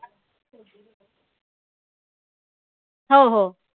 हो हो.